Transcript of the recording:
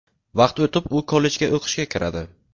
Vaqt o‘tib, u kollejga o‘qishga kiradi.